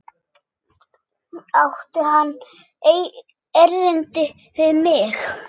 Átti hann erindi við mig?